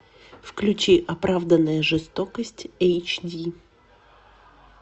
включи оправданная жестокость эйч ди